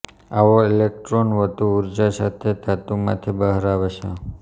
આવો ઈલેક્ટ્રૉન વધુ ઊર્જા સાથે ધાતુમાંથી બહાર આવે છે